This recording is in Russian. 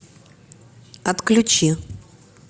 отключи